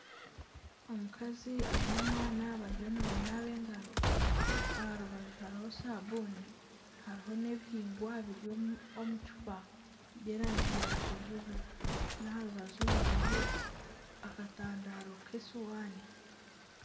Omukazi aine omwana bariyo nibanaaba engaro aha rubaju hariho saabuni hariho n'ebihingwa biri omucupa by'erangi ya kijubwe n'aha rubaju hariho akatandaro k'esuwaani